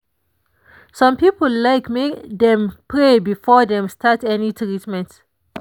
some people like make dem pray before dem start any treatment.